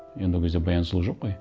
енді ол кезде баян сұлу жоқ қой